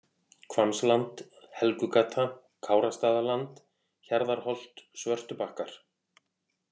Hvammsland, Helgugata, Kárastaðaland, Hjarðarholt-Svörtubakkar